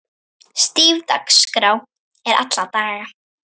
Stíf dagskrá er alla daga.